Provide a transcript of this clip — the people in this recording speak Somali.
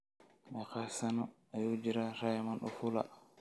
Meeqa sano ayuu jiraa Raymond Ofula?